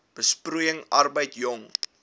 besproeiing arbeid jong